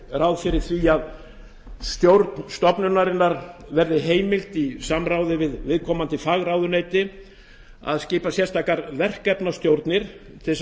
ráð fyrir því að stjórn stofnunarinnar verði heimilt í samráði við viðkomandi fagráðuneyti að skipa sérstakar verkefnastjórnir til að